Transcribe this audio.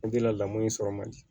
lamɔn in sɔrɔ man di